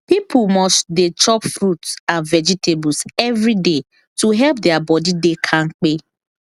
people must dey chop fruit and vegetables every day to help their body dey kampe